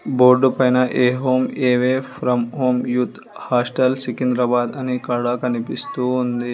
Board పైన్ a home away from home youth hostel Secunderabad అని ఇక్కడ కనిపిస్తూ ఉంది.